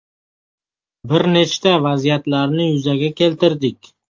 Bir nechta vaziyatlarni yuzaga keltirdik.